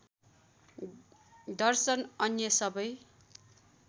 दर्शन अन्य सबै